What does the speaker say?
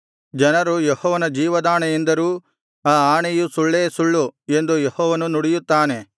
ಜನರು ಯೆಹೋವನ ಜೀವದಾಣೆ ಎಂದರೂ ಆ ಆಣೆಯು ಸುಳ್ಳೇ ಸುಳ್ಳು ಎಂದು ಯೆಹೋವನು ನುಡಿಯುತ್ತಾನೆ